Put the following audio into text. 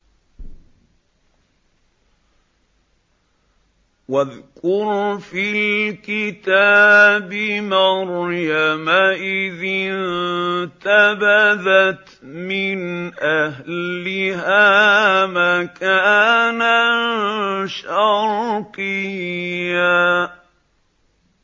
وَاذْكُرْ فِي الْكِتَابِ مَرْيَمَ إِذِ انتَبَذَتْ مِنْ أَهْلِهَا مَكَانًا شَرْقِيًّا